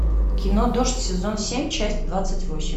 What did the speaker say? кино дождь сезон семь часть двадцать восемь